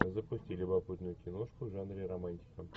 запусти любопытную киношку в жанре романтика